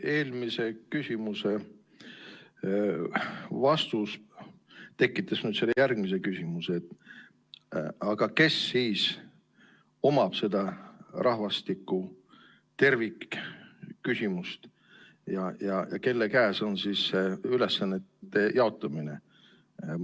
Eelmise küsimuse vastus tekitas nüüd selle järgmise küsimuse: aga kes siis omab seda rahvastiku tervikküsimust ja kelle käes on ülesannete jaotamine?